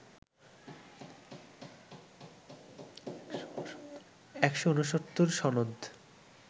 ১৬৯ সনদ